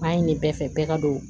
Baara in ne bɛɛ fɛ bɛɛ ka don